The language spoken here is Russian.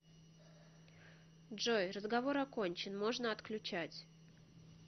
джой разговор окончен можно отключать